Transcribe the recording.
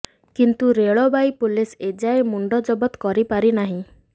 କିନ୍ତୁ ରେଳବାଇ ପୁଲିସ ଏଯାଏ ମୁଣ୍ଡ ଜବତ କରି ପାରିନାହିଁ